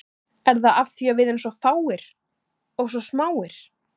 Er það af því að við erum svo fáir, og svo smáir?